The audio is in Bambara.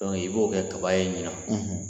i b'o kɛ kaba ye ɲina